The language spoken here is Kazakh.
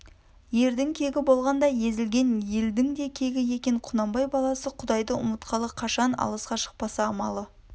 ердің кегі болғанда езілген елдің де кегі екен құнанбай баласы құдайды үмытқалы қашан алысқа шықпаса амалы